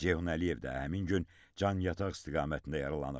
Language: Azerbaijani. Ceyhun Əliyev də həmin gün Canyataq istiqamətində yaralanıb.